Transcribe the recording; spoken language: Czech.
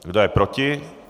Kdo je proti?